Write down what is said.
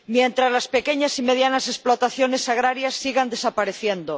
Mientras las pequeñas y medianas explotaciones agrarias sigan desapareciendo